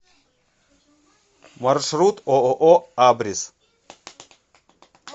маршрут ооо абрис